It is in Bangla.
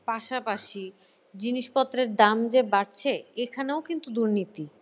পাশাপাশি জিনিসপত্রের দাম যে বাড়ছে এখানেও কিন্তু দুর্নীতি।